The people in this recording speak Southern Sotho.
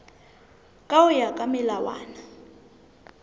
ka ho ya ka melawana